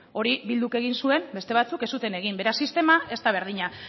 hori bilduk egin zuen beste batzuek ez zuten egin beraz sistema ez da berdina